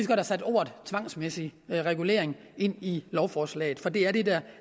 have sat ordet tvangsmæssig regulering ind i lovforslaget for det er det der